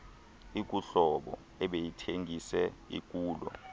ikuhlobo ebeyithengise ikulo